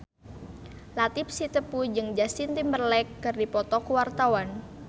Latief Sitepu jeung Justin Timberlake keur dipoto ku wartawan